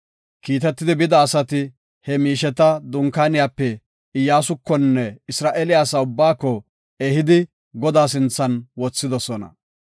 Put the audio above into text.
Kiitetidi bida asati he miisheta dunkaaniyape Iyyasukonne Isra7eele asa ubbaako ehidi, Godaa sinthan wothidosona.